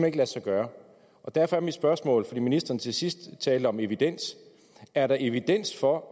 ikke lade sig gøre derfor er mit spørgsmål fordi ministeren til sidst talte om evidens er der evidens for